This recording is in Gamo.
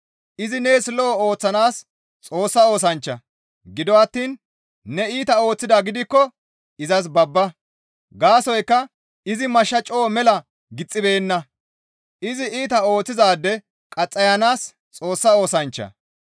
Izi nees lo7o ooththanaas Xoossa oosanchcha; gido attiin ne iita ooththidaa gidikko izas babba; gaasoykka izi mashsha coo mela gixxibeenna; izi iita ooththizaade qaxxayanaas Xoossa oosanchcha.